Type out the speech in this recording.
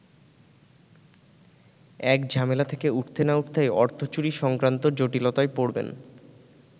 এক ঝামেলা থেকে উঠতে না উঠতেই অর্থচুরি সংক্রান্ত জটিলতায় পড়বেন।